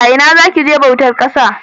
Ina za ki je bautar ƙasa?